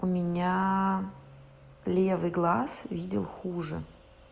у меня левый глаз видел хуже